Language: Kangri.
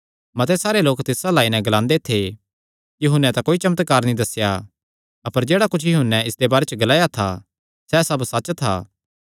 मते सारे लोक तिस अल्ल आई नैं ग्लांदे थे यूहन्ने तां कोई चमत्कार नीं दस्सेया अपर जेह्ड़ा कुच्छ यूहन्ने इसदे बारे च ग्लाया था सैह़ सब सच्च था